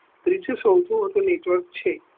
ત્રીજો સૌ થી મોટો network છે